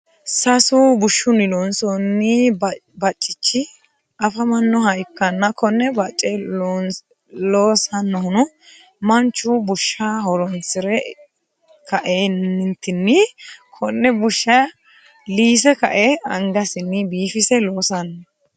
sasu bushunni loonsoonni baccichi afamanoha ikanna konne bacce loosanohuno manchu bushsha horoonsire ka'eenitinni konne bushsha liise ka'e angasinni biifisse loosanni